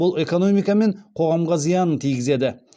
бұл экономика мен қоғамға зиянын тигізеді